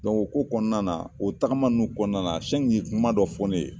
o ko kɔnɔna na, o tagama nunnu kɔnɔna na ye kuma dɔ fɔ ne ye.